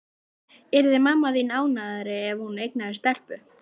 Yrði mamma þín ánægðari ef hún eignaðist stelpu?